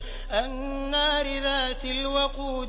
النَّارِ ذَاتِ الْوَقُودِ